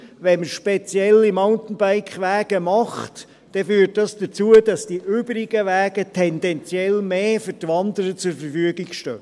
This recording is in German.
Wenn man spezielle Mountainbike-Wege macht, führt dies dazu, dass die übrigen Wege tendenziell mehr für die Wanderer zur Verfügung stehen.